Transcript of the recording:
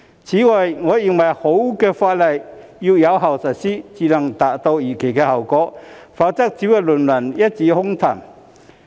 此外，我認為好的法例要經有效實施才能達到預期的效果，否則只會淪為一紙空談。